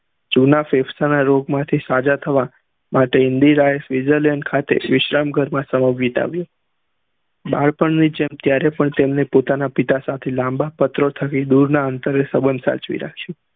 જુના ના રૂપ માંથી સજા થવા માટે ઇન્દિરા એ ફેજલ એ ખાતે વિશ્રામ ઘર સમય વિતાવ્યો બાળપણ ની જેમ ત્યારે અપન પોતાની પિતા સાથે લાંબા પત્રો ઠગી દુરના અંતરે સંબંધ સાચવી રાખ્યું